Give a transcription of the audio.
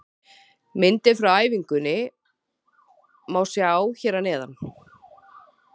Myndir frá æfingunni má sjá hér að neðan.